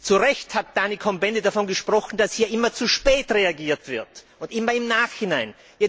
Zu Recht hat Daniel Cohn Bendit davon gesprochen, dass hier immer zu spät reagiert wird und immer im Nachhinein.